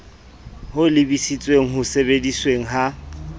ho lebisitseng ho sebedisweng ha